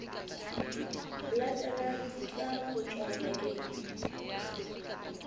latelang di tla kotjwa bakeng